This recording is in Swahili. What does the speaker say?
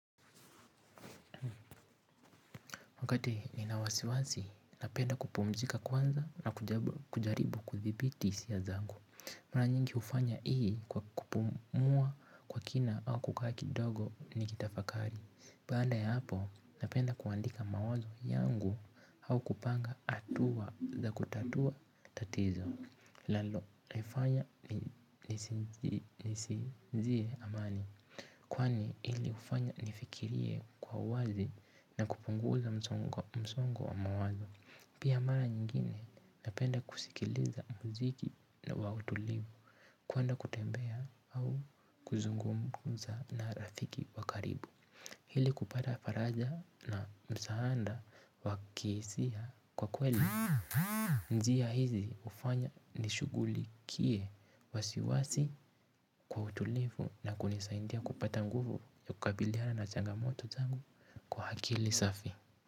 Wakati nina wasiwasi, napenda kupumzika kwanza na kujaribu kudhibiti hisiya zangu. Mara nyingi hufanya ii kwa kupumuwa kwa kina au kukaa kidogo ni kitafakari. Baada ya hapo, napenda kuandika mawazo yangu au kupanga hatua za kutatuwa tatizo. Linalo, lifanya lisinzie amani. Kwani hili hufanya nifikirie kwa uwazi na kupunguza msongo wa mawazo. Pia mara nyingine napenda kusikiliza muziki na wautulivu kwenda kutembea au kuzungumuza na rafiki wa karibu ili kupata faraja na msaada wakihisia kwa kweli. Njia hizi hufanya nishugulikie wasiwasi kwa utulivu na kunisaidia kupata nguvu ya kukabiliana na changamoto zangu kwa akili safi.